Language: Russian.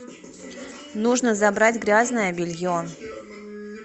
нужно забрать грязное белье